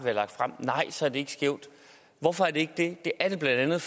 har lagt frem så er det ikke skævt hvorfor er det ikke det det er det blandt andet